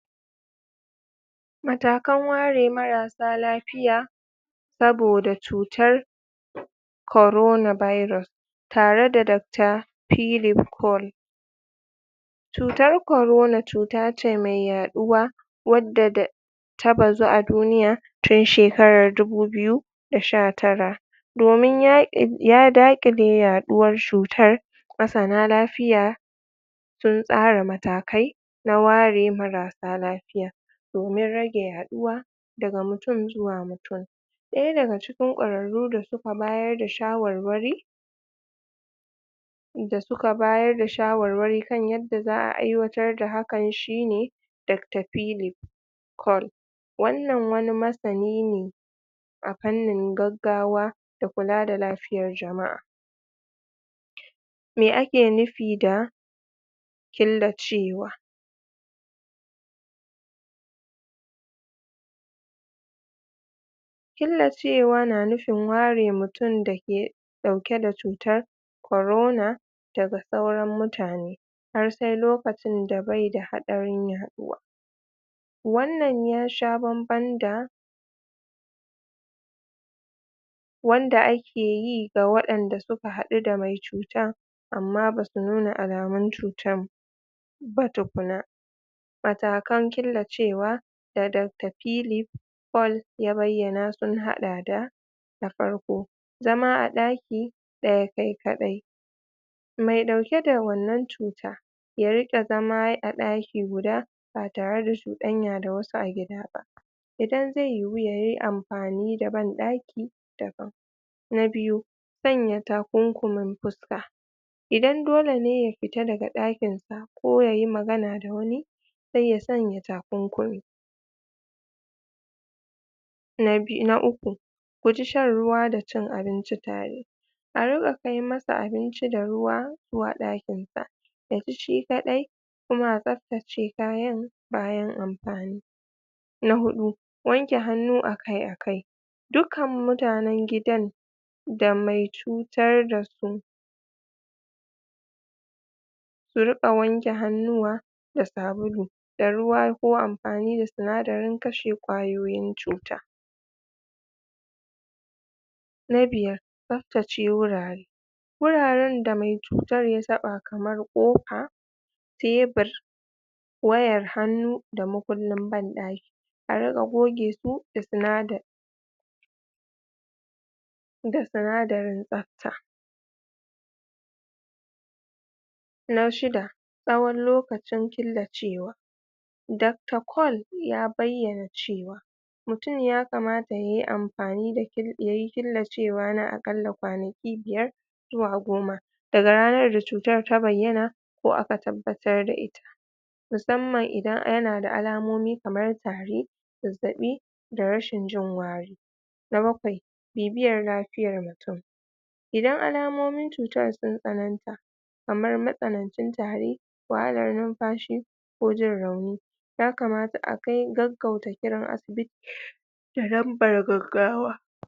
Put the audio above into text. Matakan ware marasa lafiya saboda cutar korona virus tare da dakta philip col cutar korona cuta ce mai yaɗuwa wadda da ta bazu a duniya tun shekarar dubu biyu da sha tara domin ya ya daƙile yaɗuwar shutar masana lafiya sun tsara matakai na ware marasa lafiya domin rage yaɗuwa daga mutun zuwa mutun ɗaya daga ciki ƙwararru da suka bayar da shawarwari da suka bayar da shawarwari kan yadda za'a aiwatar da hakan shi ne dakta philip col wannan wani masani ne a fannin gaggawa da kula da lafiyar jama'a me ake nufi da killacewa killacewa na nufin ware mutun dake ɗauke da cutar korona daga sauran mutane har sai lokacin da bai da haɗarin yaɗuwa wannan yasha banban da wanda a keyi ga waɗanda suka haɗu da mai cutan amma basu nuna alamun cutan ba tukuna matakan killacewa da dakta philip col ya bayyana sun haɗa da na farko zama a ɗaki ɗaya kai kaɗai mai ɗauke da wannan cuta ya riƙa zama a ɗaki guda ba tare da shuɗan yada wasu a gida ba idan zai yiwu yayi amfani da banɗaki daban na biyu sanya takunkumin fuska idan dole ne ya fita daga ɗakin sa ko ye magana da wani sai ya sanya tukunkumi na bi na uku guji shan ruwa da cin abinci tare a riƙa kai masa abinci da ruwa ko a ɗakin sa yaci shi kaɗai kuma a tsafta ce kayan bayan amfani na huɗu wanke hannu akai-akai dukkan mutanen gidan da mai cutar dasu su riƙa wanke hannuwa da sabulu da ruwa ko amfani da sinadarin kashe ƙwayoyin cuta na biyar tsaftace wurare wuraren da mai cutar ya taɓa kamar ƙofa tebur wayar hannu da mukullin banɗaki a riƙa goge su da sinada da sinadarin tsafta na shida tsawon lokacin killacewa dakta col ya bayyana cewa mutun ya kamata yayi amfani da kil yayi killacewa na aƙalla kwanaki biyar zuwa goma daga ranar da cutar ta bayyana ko a tabbatar da i musamman idan yana da alamomin kamar tari zazzaɓi da rashin jin wari na bakwai bibiyar lafiyar mutun idan alamomin cutan sun tsananta kamar matsanancin tari wahalar numfashi ko jin rauni ya kamata a kai gaggauta kiran asibiti da lambar gaggawa